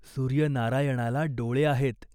सूर्यनारायणाला डोळे आहेत.